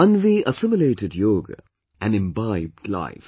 Anvi assimilated yoga and imbibed life